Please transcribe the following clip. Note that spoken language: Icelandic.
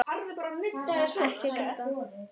Ekki gráta